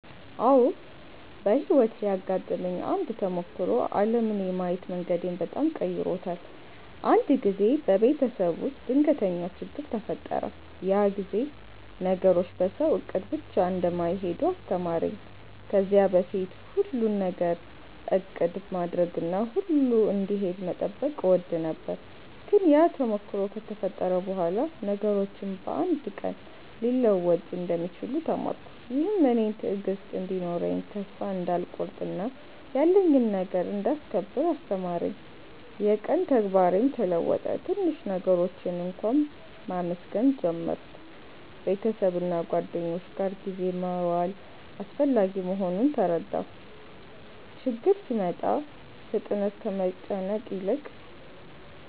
አዎ፣ በሕይወቴ ያጋጠመኝ አንድ ተሞክሮ ዓለምን የማየት መንገዴን በጣም ቀይሮታል። አንድ ጊዜ በቤተሰብ ውስጥ ድንገተኛ ችግኝ ተፈጠረ፤ ያ ጊዜ ነገሮች በሰው እቅድ ብቻ እንደማይሄዱ አስተማረኝ። ከዚያ በፊት ሁሉን ነገር እቅድ ማድረግና ሁሉ እንዲሄድ መጠበቅ እወድ ነበር፤ ግን ያ ተሞክሮ ከተፈጠረ በኋላ ነገሮች በአንድ ቀን ሊለወጡ እንደሚችሉ ተማርኩ። ይህም እኔን ትዕግሥት እንዲኖረኝ፣ ተስፋ እንዳልቆርጥ እና ያለኝን ነገር እንዳስከብር አስተማረኝ። የቀን ተግባሬም ተለወጠ፤ ትንሽ ነገሮችን እንኳ መመስገን ጀመርሁ። ቤተሰብና ጓደኞች ጋር ጊዜ መዋል አስፈላጊ መሆኑን ተረዳሁ። ችግኝ ሲመጣ ፍጥነት ከመጨነቅ ይልቅ